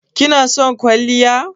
Ki na son kwalliya?